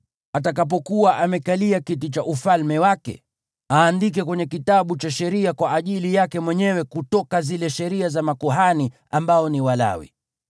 Atakapokuwa amekalia kiti cha ufalme wake, ajiandikie kwenye kitabu nakala ya sheria kwa ajili yake mwenyewe kutoka zile sheria za makuhani ambao ni Walawi.